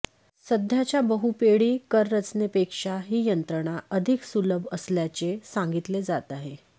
सध्याच्या बहुपेडी कररचनेपेक्षा ही यंत्रणा अधिक सुलभ असल्याचे सांगितले जात आहे